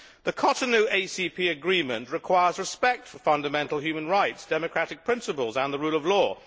The Cotonou ACP agreement requires respect for fundamental human rights, democratic principles and the rule of law.